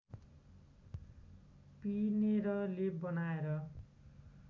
पिनेर लेप बनाएर